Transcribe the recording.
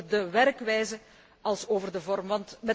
Zowel over de werkwijze als over de vorm.